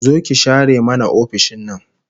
Zo ki share mana ofishin nan